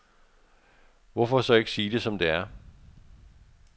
Hvorfor så ikke sige det som det er.